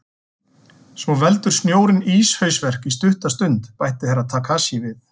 Svo veldur snjórinn íshausverk í stutta stund, bætti Herra Takashi við.